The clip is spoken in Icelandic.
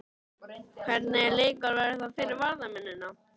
Hvernig leikur verður þetta fyrir varnarmennina?